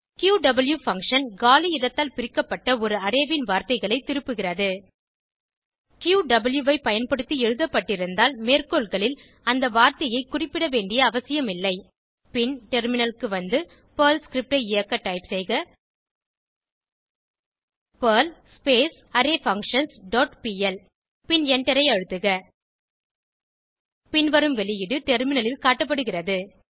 க்யூவ் function காலி இடத்தால் பிரிக்கப்பட்ட ஒரு அரே ன் வார்த்தைகளை திருப்புகிறது க்யூவ் ஐ பயன்படுத்தி எழுதப்பட்டிருந்தால் மேற்கோள்களில் அந்த வார்த்தையை குறிப்பிட வேண்டிய அவசியம் இல்லை பின் டெர்மினலுக்கு வந்து பெர்ல் ஸ்கிரிப்ட் ஐ இயக்க டைப் செய்க பெர்ல் அரேஃபங்க்ஷன்ஸ் டாட் பிஎல் பின் எண்டரை அழுத்துக பின்வரும் வெளியீடு டெர்மினலில் காட்டப்படுகிறது